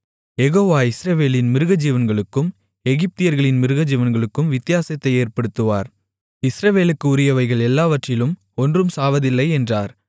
யெகோவா இஸ்ரவேலின் மிருகஜீவன்களுக்கும் எகிப்தியர்களின் மிருகஜீவன்களுக்கும் வித்தியாசத்தை ஏற்படுத்துவார் இஸ்ரவேலுக்கு உரியவைகள் எல்லாவற்றிலும் ஒன்றும் சாவதில்லை என்றார்